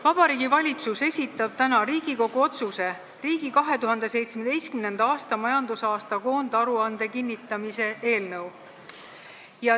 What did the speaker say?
Vabariigi Valitsus esitab täna Riigikogu otsuse "Riigi 2017. aasta majandusaasta koondaruande kinnitamine" eelnõu.